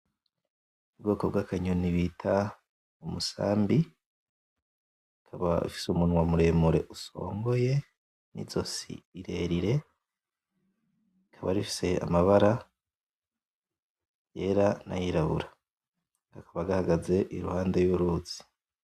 Ubwoko bw'akanyoni bita Umusambi, ukaba ufise umunwa muremure usongoye n'izosi rirerire rikaba rifise amabara yera nayirabura, kakaba gahaze impande y'uruzi.